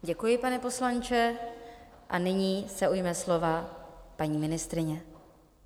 Děkuji, pane poslanče, a nyní se ujme slova paní ministryně.